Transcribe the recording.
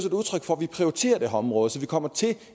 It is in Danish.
område så vi kommer til